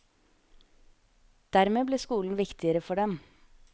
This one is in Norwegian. Dermed ble skolen viktigere for dem.